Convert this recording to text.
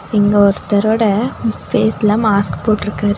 இங்க ஒருத்தர்ரோட ஃபேஸ்ல மாஸ்க் போட்ருக்காரு.